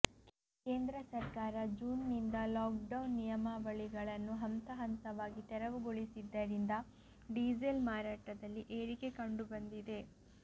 ಕೇಂದ್ರ ಸರ್ಕಾರ ಜೂನ್ನಿಂದ ಲಾಕ್ಡೌನ್ ನಿಯಮಾವಳಿಗಳನ್ನು ಹಂತ ಹಂತವಾಗಿ ತೆರವುಗೊಳಿಸಿದ್ದರಿಂದ ಡೀಸೆಲ್ ಮಾರಾಟದಲ್ಲಿ ಏರಿಕೆ ಕಂಡುಬಂದಿದೆ